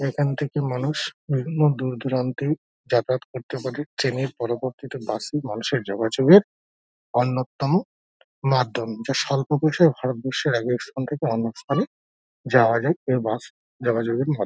এখান থেকে মানুষ বিভিন্ন দূর দূরান্তে যাতায়াত করতে পারে ট্রেন -এর পরিবর্তে বাস মানুষের যোগাযোগের অন্যতম মাধ্যম যা সল্প খরচে ভারতবর্ষের এক স্থান থেকে অন্য স্থানে যাওয়া যায় এই বাস যোগাযোগের মাধ--